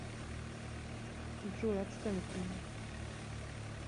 джой отстань от меня